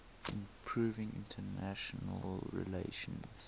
improving international relations